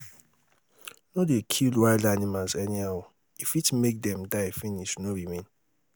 no dey kill wild animals anyhow e fit make them die finish no remain